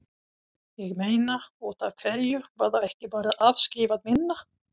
Ég meina, útaf hverju var þá ekki bara afskrifað minna?